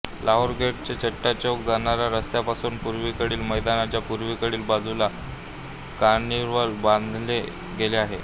Lahore gate ते चट्टा चौक जाणाऱ्या रस्त्यापासून पूर्वेकडील मैदानाच्या पूर्वेकडील बाजूला कार्निवल बांधले गेले आहे